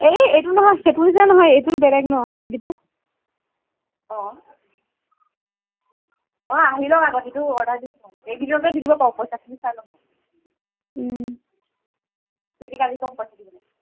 নহয় সেইটো নিচিনা নহয় ন এইটো টো বেলেগ ন হাত গিতা অ অ আহি লওক অংগঠিটো টি order দিছো এদিনতে দি দিব ক পইছা খিনি চাই লম উম চুইটিক আজি কম পইছা দিবলে